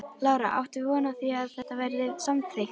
Lára: Áttu von á því að þetta verði samþykkt?